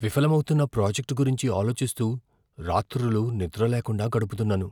విఫలమౌతున్న project గురించి ఆలోచిస్తూ రాత్రులు నిద్రలేకుండా గడుపుతున్నాను.